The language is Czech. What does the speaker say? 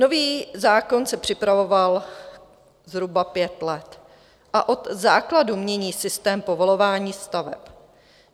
Nový zákon se připravoval zhruba pět let a od základu mění systém povolování staveb.